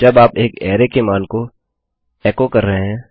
जब आप एक अरै के मान को एचो एको कर रहे हैं